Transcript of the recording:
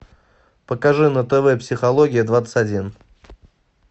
покажи на тв психология двадцать один